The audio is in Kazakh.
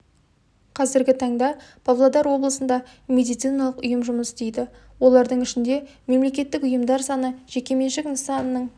қазіргі таңда павлодар облысында медициналық ұйым жұмыс істейді олардың ішінде мемлекеттік ұйымдар саны жеке меншік нысанының